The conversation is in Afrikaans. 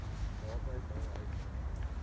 naby my huis